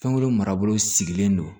Fɛn wɛrɛ marabolo sigilen don